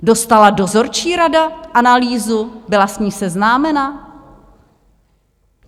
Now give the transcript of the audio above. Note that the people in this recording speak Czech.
Dostala dozorčí rada analýzu, byla s ní seznámena?